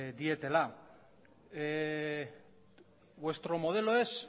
dietela vuestro modelo es